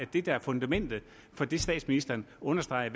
det der er fundamentet for det statsministeren understreger